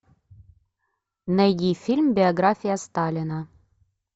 найди фильм биография сталина